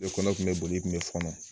I kɔnɔ kun be boli i kun be fɔɔnɔ